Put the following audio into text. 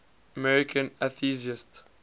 american atheists